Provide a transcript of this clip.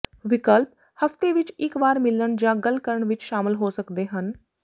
ਵਿਕਲਪ ਹਫ਼ਤੇ ਵਿਚ ਇਕ ਵਾਰ ਮਿਲਣ ਜਾਂ ਗੱਲ ਕਰਨ ਵਿਚ ਸ਼ਾਮਲ ਹੋ ਸਕਦੇ ਹਨ